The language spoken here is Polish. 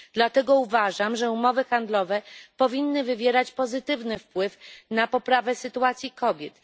Dlatego uważam, że umowy handlowe powinny wywierać pozytywny wpływ na poprawę sytuacji kobiet.